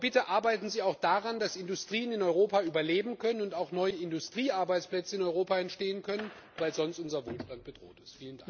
Aber bitte, arbeiten Sie auch daran, dass Industrien in Europa überleben können und auch neue Industriearbeitsplätze in Europa entstehen können, weil sonst unser Wohlstand bedroht ist.